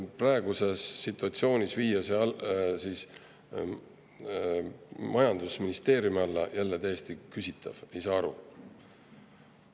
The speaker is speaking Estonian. Praeguses situatsioonis viia see majandusministeeriumi alla on täiesti küsitav, sellest ei saa aru.